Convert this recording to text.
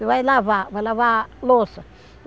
E vai lavar, vai lavar louça.